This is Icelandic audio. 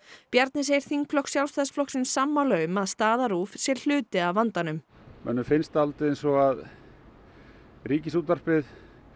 Bjarni segir þingflokk Sjálfstæðisflokksins sammála um að staða RÚV sé hluti af vandanum mönnum finnst dálítið eins og að Ríkisútvarpið